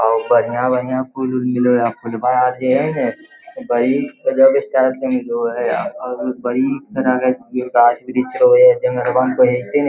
और बढ़िया-बढ़िया फूल उल मिले हो यहां पर फूल बा आर जे हेय ने गाछ वृक्ष होवे हेय --